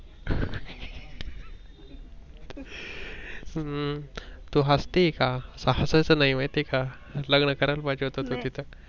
हम्म तू हसती आहे का? हसायचं नाही माहित आहे का, लग्न करायला पाहिजे होत तू तिथं